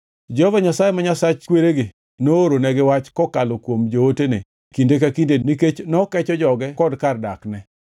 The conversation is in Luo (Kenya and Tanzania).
Jehova Nyasaye, ma Nyasach kweregi nooronegi wach kokalo kuom jootene kinde ka kinde nikech nokecho joge kod kar dakne.